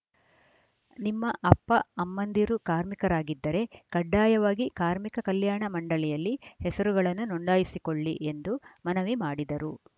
ನಿಮ್ಮ ಅಪ್ಪ ಅಮ್ಮಂದಿರು ಕಾರ್ಮಿಕರಾಗಿದ್ದರೆ ಕಡ್ಡಾಯವಾಗಿ ಕಾರ್ಮಿಕ ಕಲ್ಯಾಣ ಮಂಡಳಿಯಲ್ಲಿ ಹೆಸರುಗಳನ್ನು ನೋಂದಾಯಿಸಿಕೊಳ್ಳಿ ಎಂದು ಮನವಿ ಮಾಡಿದರು